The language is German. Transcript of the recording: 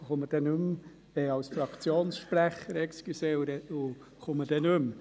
Ich spreche auch gleich als Fraktionssprecher und komme nicht noch einmal ans Rednerpult.